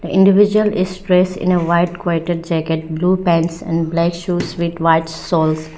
the individual is dressed in a white quited jacket blue pants and black shoes with white soles.